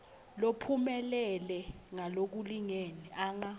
lophumelele ngalokulingene anga